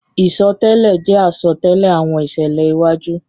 Isọtẹlẹ jẹ asọtẹlẹ awọn iṣẹlẹ iwaju.